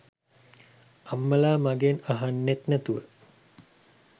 අම්මලා මගෙන් අහන්නෙත් නැතුව